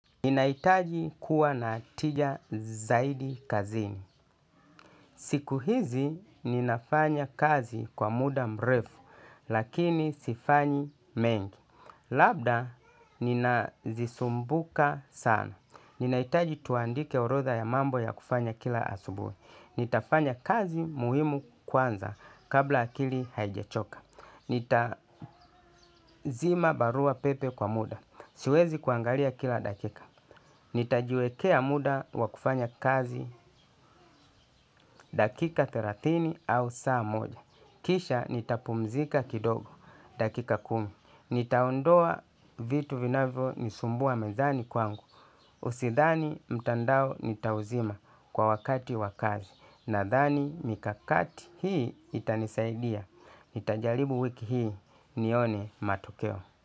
Ninahitaji kuwa na tija zaidi kazini. Siku hizi ninafanya kazi kwa muda mrefu lakini sifanyi mengi. Labda nina zisumbuka sana. Ninahitaji tuandike orodha ya mambo ya kufanya kila asubuhi. Nitafanya kazi muhimu kwanza kabla akili haijachoka. Nitazima barua pepe kwa muda. Siwezi kuangalia kila dakika. Nitajiwekea muda wa kufanya kazi. Dakika thelathini au saa moja kisha nitapumzika kidogo dakika kumi. Nitaondoa vitu vinavyo nisumbua mezani kwangu sidhani mtandao nitauzima wakati wa kazi, nadhani mikakati hii itanisaidia. Nitajaribu wiki hii nione matokeo.